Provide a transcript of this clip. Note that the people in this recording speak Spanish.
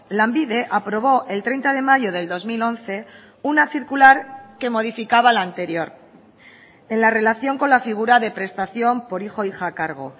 lanbide aprobó el treinta de mayo del dos mil once una circular que modificaba la anterior en la relación con la figura de prestación por hijo hija a cargo